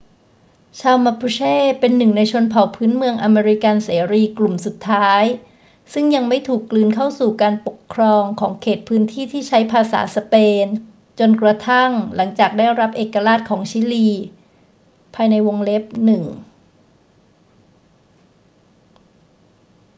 ชาว mapuche เป็นหนึ่งในชนเผ่าพื้นเมืองอเมริกันเสรีกลุ่มสุดท้ายซึ่งยังไม่ถูกกลืนเข้าสู่การปกครองของเขตพื้นที่ที่ใช้ภาษาสเปนจนกระทั่งหลังจากการได้รับเอกราชของชิลี 1